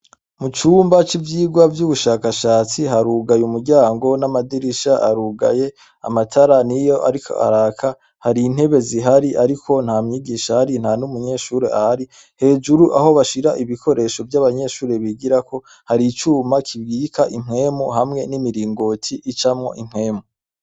Mu cumba ci vyirwa vy'ubushakashatsi harugaye umuryango n'amadirisha arugaye amatara niyo ariko araka hari intebe zihari ariko nta mwigisha ahari ntanumunyeshuri ahari hejuru aho bashira ibikoresho vyabanyeshuri bigirako hari icuma gicamwo impwemu hamwe n'imiringoti icamwo impwemu.